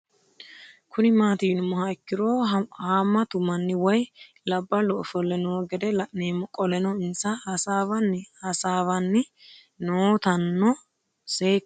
Kuni mati yinumoha ikiro hamatu manni woyi labalu ofole noo gede la'nemo qoleno insa hasawani hasawani nootano seekine buuxana dandinemo